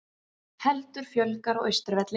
Heldur fjölgar á Austurvelli